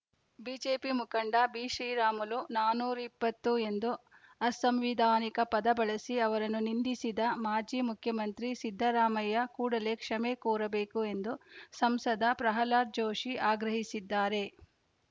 BJP ಮುಖಂಡ ಬಿಶ್ರೀರಾಮುಲು ನಾನೂರ ಇಪ್ಪತ್ತು ಎಂದು ಅಸಂವಿಧಾನಿಕ ಪದ ಬಳಸಿ ಅವರನ್ನು ನಿಂದಿಸಿದ ಮಾಜಿ ಮುಖ್ಯಮಂತ್ರಿ ಸಿದ್ದರಾಮಯ್ಯ ಕೂಡಲೇ ಕ್ಷಮೆ ಕೋರಬೇಕು ಎಂದು ಸಂಸದ ಪ್ರಹ್ಲಾದ್‌ ಜೋಶಿ ಆಗ್ರಹಿಸಿದ್ದಾರೆ